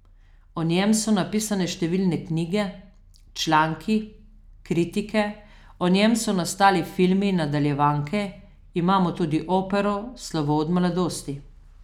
O njem so napisane številne knjige, članki, kritike, o njem so nastali filmi in nadaljevanke, imamo tudi opero Slovo od mladosti.